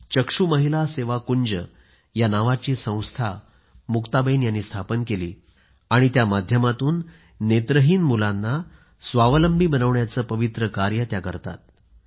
चक्षू महिला सेवाकुंज नावाची संस्था मुक्ताबेन यांनी स्थापन केली आणि त्या माध्यमातून नेत्रहीन मुलांना स्वावलंबी बनवण्याचे पवित्र कार्य त्या करतात